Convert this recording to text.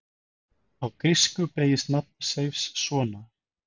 Á grísku beygist nafn Seifs svona: